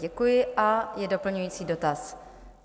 Děkuji a je doplňující dotaz.